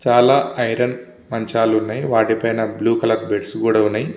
చాల ఐరన్ మంచాలు ఉన్నాయి దాని మేద బ్లూ కలర్ బెడ్స్ కూడా వున్నాయి.